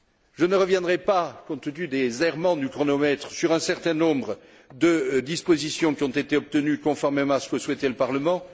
Je ne reviendrai pas, compte tenu des errements du chronomètre, sur un certain nombre de dispositions qui ont été obtenues conformément à ce que souhaitait le Parlement.